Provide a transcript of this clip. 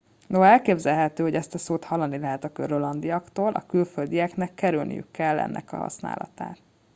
noha elképzelhető hogy ezt a szót hallani lehet a grönlandiaktól a külföldieknek kerülniük kell ennek használatát